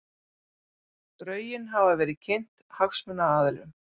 Drögin hafa verið kynnt hagsmunaaðilum